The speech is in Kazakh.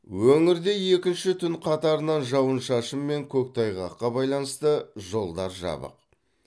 өңірде екінші түн қатарынан жауын шашын мен көктайғаққа байланысты жолдар жабық